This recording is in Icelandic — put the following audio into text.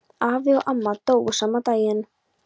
Afi og amma dóu sama daginn.